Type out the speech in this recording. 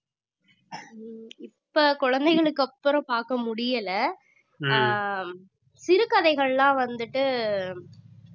இப்ப குழந்தைகளுக்கு அப்புறம் பாக்க முடியல ஆஹ் சிறுகதைகள்லாம் வந்துட்டு